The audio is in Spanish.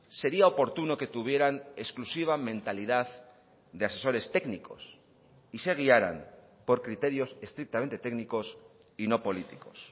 sería oportuno que tuvieran exclusiva mentalidad de asesores técnicos y se guiaran por criterios estrictamente técnicos y no políticos